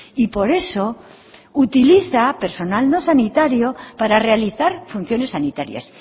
y por eso utiliza personal no sanitario para realizar funciones sanitarias